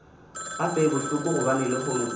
gape e bohloko gobane lehono